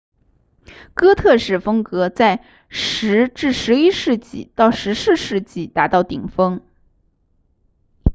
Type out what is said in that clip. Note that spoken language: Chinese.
哥特式风格在10 11世纪到14世纪达到顶峰